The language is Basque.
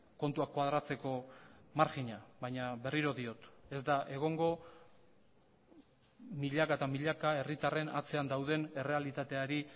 kontuak koadratzeko marjina baina berriro diot ez da egongo milaka eta milaka herritarren atzean dauden errealitateari